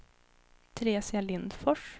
Teresia Lindfors